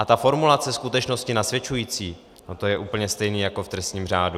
A ta formulace "skutečnosti nasvědčující", no to je úplně stejné jako v trestním řádu.